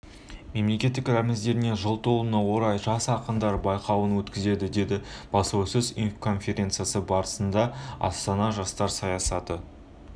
мемлекеттік рәміздеріне жыл толуына орай жас ақындар байқауын өткізеді деді баспасөз-конференциясы барысында астана жастар саясаты